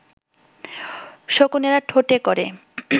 শকুনেরা ঠোঁটে করে